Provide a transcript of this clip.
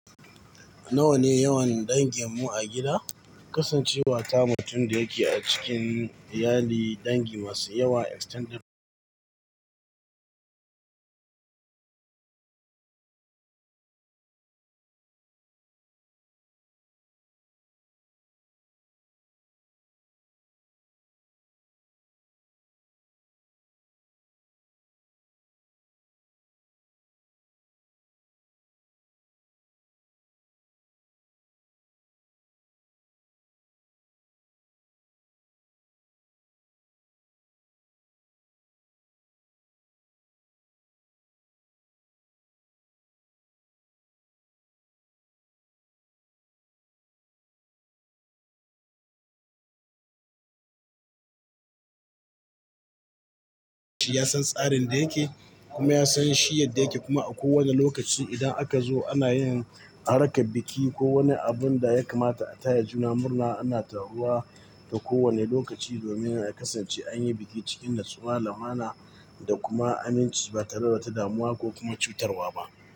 Nawa ne yawan dangin mu a gida? Kasancewa tamu tin da yake a cikin iyali, dangi masu yawa extended. Ya san tsarin da yake, kuma ya san shi yadda yake. Kuma a kowane lokaci idan aka zo ana yin, rakka biki ko wani abun da ya kamata a taya juna murna, ana taruwa ta kowane lokaci domin a kasance an yi biki cikin natsuwa, limana da kuma aminci. Ba tare da muwa ko kuma cutarwa ba,